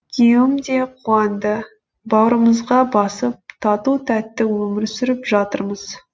күйеуім де қуанды бауырымызға басып тату тәтті өмір сүріп жатырмыз